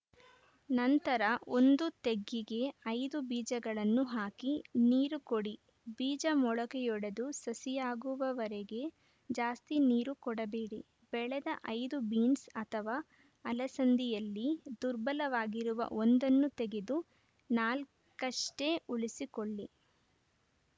ನಂತರ ಒಂದು ತೆಗ್ಗಿಗೆ ಐದು ಬೀಜಗಳನ್ನು ಹಾಕಿ ನೀರು ಕೊಡಿ ಬೀಜ ಮೊಳಕೆಯೊಡೆದು ಸಸಿಯಾಗುವವರೆಗೆ ಜಾಸ್ತಿ ನೀರು ಕೊಡಬೇಡಿ ಬೆಳೆದ ಐದು ಬೀನ್ಸ್‌ ಅಥವಾ ಅಲಸಂದಿಯಲ್ಲಿ ದುರ್ಬಲವಾಗಿರುವ ಒಂದನ್ನು ತಗೆದು ನಾಲ್ಕಷ್ಟೇ ಉಳಿಸಿಕೊಳ್ಳಿ